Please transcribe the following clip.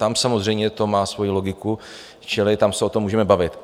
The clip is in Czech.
Tam samozřejmě to má svoji logiku, čili tam se o tom můžeme bavit.